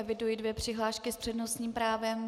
Eviduji dvě přihlášky s přednostním právem.